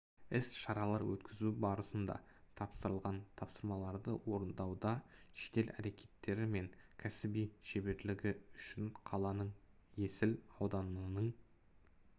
іс-шаралар өткізу барысында тапсырылған тапсырмаларды орындауда жедел әрекеттері мен кәсіби шеберлігі үшін қаланың есіл ауданының